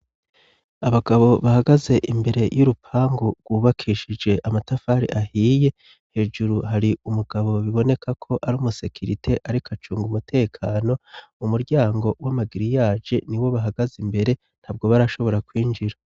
Abagabo bahagaze imbere y'u rupangu rwubakishije amatafari ahiye hejuru hari umugabo biboneka ko ari umusekirite, ariko acunga umutekano mu muryango w'amagiri yaje ni wo bahagaze imbere nta bwo barashobora kwinjira.